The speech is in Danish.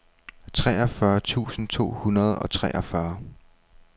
treogfyrre tusind to hundrede og treogfyrre